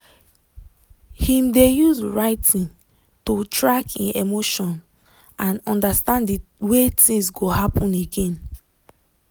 him dey use writiing to track e emotions and understand de way things go happen again.